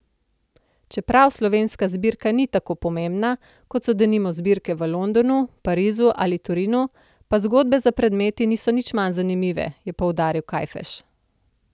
Čeprav slovenska zbirka ni tako pomembna, kot so denimo zbirke v Londonu, Parizu ali Torinu, pa zgodbe za predmeti niso nič manj zanimive, je poudaril Kajfež.